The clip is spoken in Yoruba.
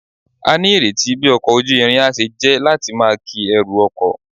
A ni ireti bi oko ojuirin a se je lati maa ki eru oko